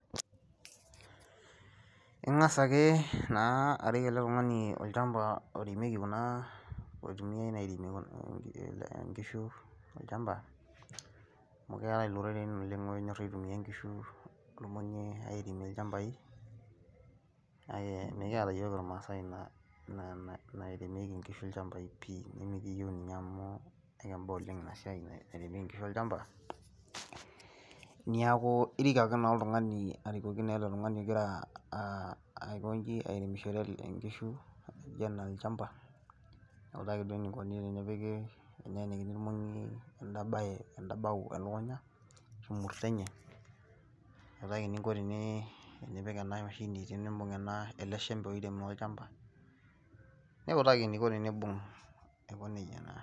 Ingas ake naa arik ele tungani olchampa oiremieki kunaa , oitumiai airemie ingishu olchampa , amu keetai ilroren oleng onyor aitumia ingishu , irmongi airemie ilchampai , mikiata iyiok irmaasai inaa nairemieki ngishu ilchampai pii , nimikiyeu ninye amu ekimba oleng ina nairemieki ngishu ilchampai, niaku irik ake naa oltungani , arikoki naa oltungani ogira aikonji , airemishore ngishu too olchampa nawutaki duo enikoni tenepiki, teneenikini irmongi enabao elukunya arashu imurto enye nawutaki eningo tenee tenipik enamashini otunimbung ele shempe oirem ele shamba aiko nejia naa.